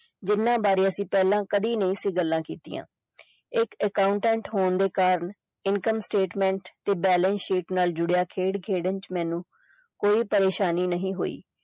ਜਿੰਨਾ ਬਾਰੇ ਪਹਿਲੇ ਅਸੀਂ ਕਦੀ ਨਹੀਂ ਸੀ ਗੱਲਾਂ ਕੀਤੀਆਂ ਇੱਕ accountant ਹੋਣ ਦੇ ਕਾਰਨ income statement balance sheet ਨਾਲ ਜੁੜਿਆ ਖੇਡ ਖੇਡਣ ਚ ਮੈਨੂੰ ਕੋਈ ਪਰੇਸ਼ਾਨੀ ਨਹੀਂ ਹੋਈ।